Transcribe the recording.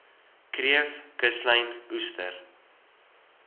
kreef kuslyn oester